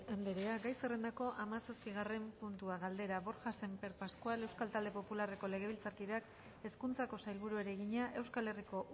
andrea gai zerrendako hamaseigarren puntua galdera borja sémper pascual euskal talde popularreko legebiltzarkideak hezkuntzako sailburuari egina euskal herriko